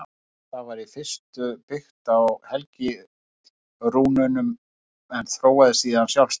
Það var í fyrstu byggt á helgirúnunum en þróaðist síðan sjálfstætt.